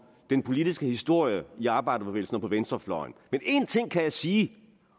den politiske historie i arbejderbevægelsen og på venstrefløjen men én ting kan jeg sige